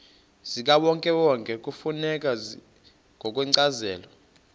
zikawonkewonke kufuneka ngokwencazelo